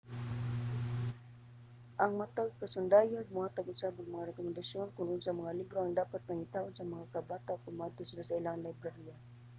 ang matag pasundayag mohatag usab og mga rekomendasyon kon unsang mga libro ang dapat pangitaon sa mga bata kon moadto sila sa ilang librarya